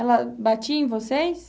Ela batia em vocês?